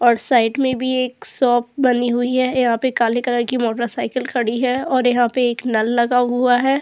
और साइड मे भी एक शॉप बनी हुई है। यहाँ पे काले कलर की मोटर साइकिल खड़ी है और यहाँ पर एक नल लगा हुआ है।